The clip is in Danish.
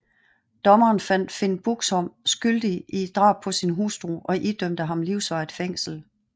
Dommerne fandt Finn Buxbom skyldig i drab på sin hustru og idømte ham livsvarigt fængsel